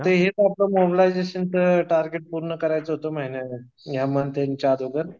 फक्त हे मोबालीझशनच टार्गेट करायचं होत ह्या महिन्याचं मंथ एंडच्या अगोदर